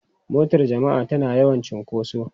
Motar jama'a tana yawan cunkoso.